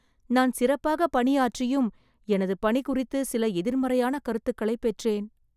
நான் சிறப்பாகப் பணி ஆற்றியும், எனது பணி குறித்து சில எதிர்மறையான கருத்துக்களைப் பெற்றேன்